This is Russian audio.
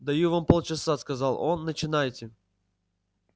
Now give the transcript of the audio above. даю вам полчаса сказал он начинайте